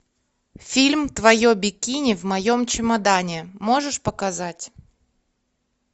фильм твое бикини в моем чемодане можешь показать